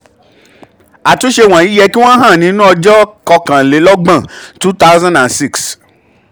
àtúnṣe wọ̀nyí yẹ kí wọ́n hàn nínú àkọsílẹ̀ ọjọ́ kokanlelogbon two thousand and six.